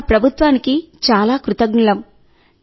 మన ప్రభుత్వానికి చాలా కృతజ్ఞులం